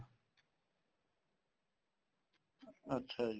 ਅੱਛਾ ਜੀ